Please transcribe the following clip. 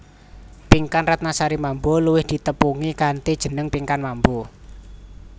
Pinkan Ratnasari Mambo luwih ditepungi kanthi jeneng Pinkan Mambo